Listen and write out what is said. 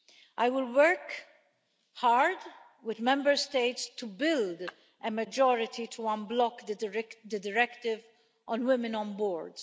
I will work hard with Member States to build a majority to unblock the Directive on women on boards.